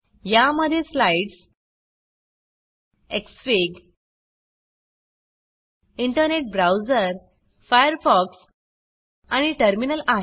या मध्ये slides xfig internet browser - Firefox आणि टर्मिनल आहे